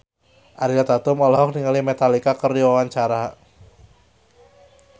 Ariel Tatum olohok ningali Metallica keur diwawancara